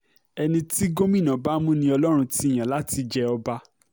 ẹni tí gómìnà bá mú ni ọlọ́run ti yàn láti jẹ́ ọba